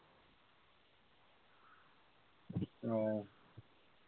উহ